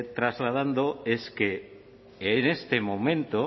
trasladando es que en este momento